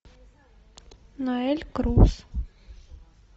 ноэль круз